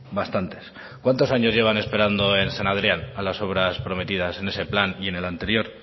bastantes cuantos años llevan esperando en san adrián a las obra prometidas en ese plan y en el anterior